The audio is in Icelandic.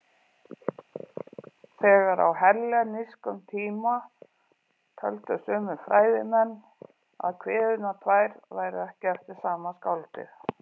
Þegar á hellenískum tíma töldu sumir fræðimenn að kviðurnar tvær væru ekki eftir sama skáldið.